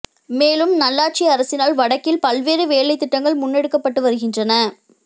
மேலும் நல்லாட்சி அரசினால் வடக்கில் பல்வேறு வேலைத்திட்டங்கள் முன்னெடுக்கப்பட்டு வருகின்றன